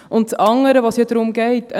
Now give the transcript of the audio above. Das andere, um das es ja geht, ist: